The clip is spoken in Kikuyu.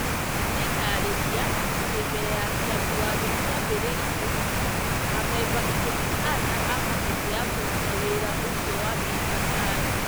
Magĩtaarĩria atĩ mbere ya Kĩambi Watho kĩambĩrĩrio, amemba ikũmi na ana a kamĩtĩ ya kũruta wĩra ũcio wa BBI